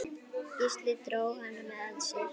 Gísli dró hana að sér.